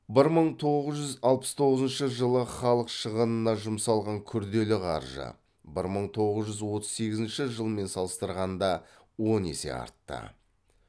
бір мың тоғыз жүз алпыс тоғызыншы жылы халық шығынына жұмсалған күрделі қаржы бір мың тоғыз жүз отыз сегізінші жылмен салыстырғанда он есе артты